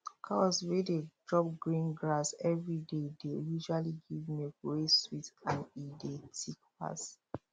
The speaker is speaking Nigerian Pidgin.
cows wey dey chop green grass every day dey usually give milk wey sweet and e de thick pass